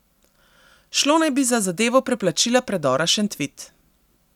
Šlo naj bi za zadevo preplačila predora Šentvid.